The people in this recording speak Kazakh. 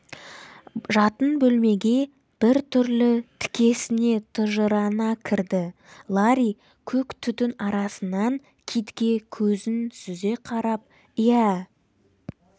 жатын бөлмеге бір түрлі тікесіне тыжырына кірді ларри көк түтін арасынан китке көзін сүзе қарап иә